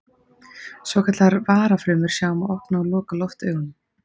svokallaðar varafrumur sjá um að opna og loka loftaugunum